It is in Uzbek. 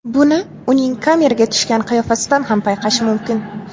Buni uning kameraga tushgan qiyofasidan ham payqash mumkin.